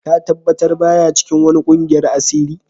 Ka tabatar ba ya cikin wani ƙungiyan asiri?